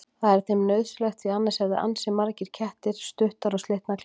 Það er þeim nauðsynlegt því annars hefðu ansi margir kettir stuttar og slitnar klær.